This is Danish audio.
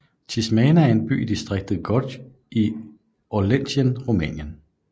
Tismana er en by i distriktet Gorj i Oltenien Rumænien